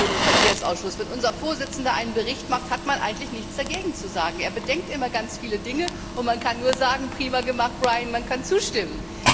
Wir kennen das schon im Verkehrsausschuss Wenn unser Vorsitzender einen Bericht macht, hat man eigentlich nichts dagegen zu sagen. Er bedenkt immer sehr viele Dinge, und man kann nur sagen Prima gemacht, Brian, man kann zustimmen.